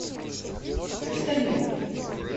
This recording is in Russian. почтальон